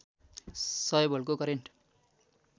सय भोल्टको करेन्ट